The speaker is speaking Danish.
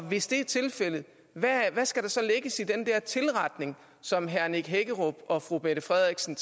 hvis det er tilfældet hvad skal der så lægges i den der tilretning som herre nick hækkerup og fru mette frederiksen